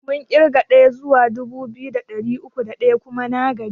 Mun ƙirga ɗaya zuwa dubu biyu da ɗari uku da ɗaya kuma na gaji.